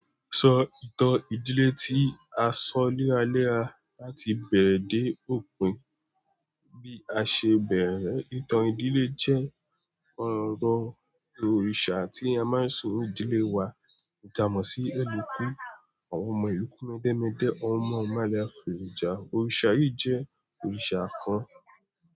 Sọ ìtàn ìdílé tí a sọ léraléra láti bẹ̀rẹ̀ dé òpin. Bí a ṣe bẹ̀rẹ̀ ìtàn ìdílé jẹ́ ọ̀rọ̀ òrìṣà tí a máa ń sọ òdílé wa jàmọ̀ sí ẹlẹ́kú. Àwọn ọmọ ẹlẹ́kú mẹ́dẹ́mẹ́dẹ́, àwọn ọmọ ọmọ àlèfò ìjà. Òrìṣà yìí jẹ́ òrìṣà kan.